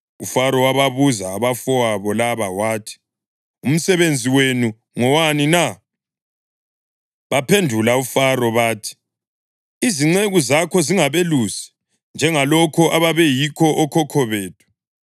UFaro wababuza abafowabo laba wathi, “Umsebenzi wenu ngowani na?” Baphendula uFaro bathi, “Izinceku zakho zingabelusi, njengalokho ababeyikho okhokho bethu.”